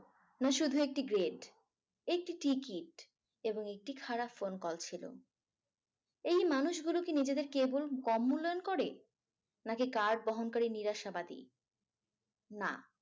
না শুধু একটি গেট। একটি টিকিট এবং একটি খারাপ phone call ছিল। এই মানুষগুলোকে নিজেদের কেবল কম মূল্যায়ন করে। নাকি বহনকারী নিরাশাবাদী। না